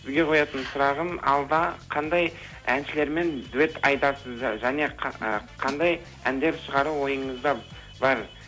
сізге қоятын сұрағым алда қандай әншілермен дуэт айтасыз және ы қандай әндер шығару ойыңызда бар